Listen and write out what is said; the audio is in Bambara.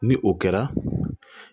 Ni o kɛra